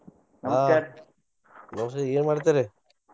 ವಸಂತ್ ಏನ್ ಮಾಡ್ತೀರಿ?